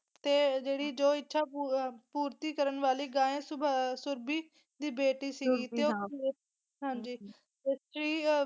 ਤੇ ਜਿਹੜੀ ਜੋ ਇੱਛਾ ਪੂਰ ਪੂਰਤੀ ਕਰਨ ਵਾਲੀ ਗਾਏਂ ਸੁਬਾ ਸੁਰਬੀ ਦੀ ਬੇਟੀ ਸੀ ਤੇ ਉਹ ਹਾਂਜੀ ਹਾਂਜੀ